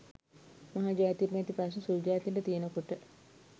මහ ජාතියට නැති ප්‍රශ්න සුලු ජාතින්ට තියෙන කොට?